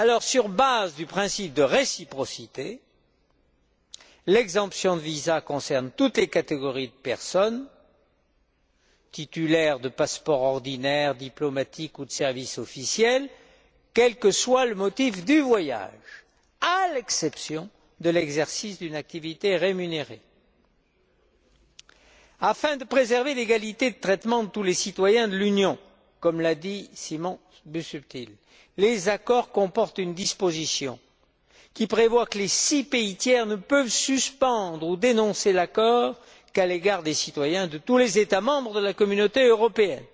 Sur la base du principe de réciprocité, l'exemption de visa concerne toutes les catégories de personnes titulaires de passeports ordinaires, diplomatiques ou de services officiels, quel que soit le motif du voyage, à l'exception de l'exercice d'une activité rémunérée. Afin de préserver l'égalité de traitement de tous les citoyens de l'Union, comme l'a dit Simon Busuttil, les accords comportent une disposition qui prévoit que les six pays tiers ne peuvent suspendre ou dénoncer l'accord qu'à l'égard des citoyens de tous les États membres de la Communauté européenne,